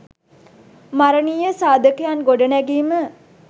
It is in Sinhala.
මරනීය සාධකයන් ගොඩනැගීම